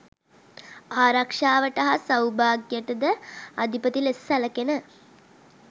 ආරක්‍ෂාවට හා සෞභාග්‍යයට ද අධිපති ලෙස සැලකෙන